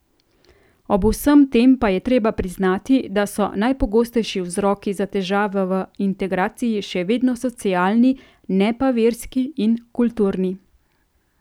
Ob vsem tem pa je treba priznati, da so najpogostejši vzroki za težave v integraciji še vedno socialni, ne pa verski in kulturni.